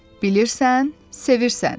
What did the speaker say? Bilirsən, sevirsən?